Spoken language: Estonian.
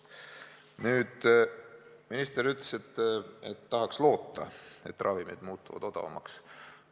Nüüd, minister ütles, et tahaks loota, et ravimid muutuvad odavamaks.